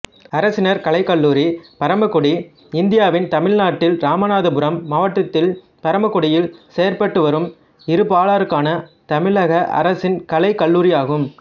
அரசினர் கலைக்கல்லூரி பரமக்குடி இந்தியாவின் தமிழ்நாட்டில் இராமநாதபுரம் மாவட்டத்தில் பரமக்குடியில் செயற்பட்டுவரும் இருபாலருக்கான தமிழக அரசின் கலைக் கல்லூரியாகும்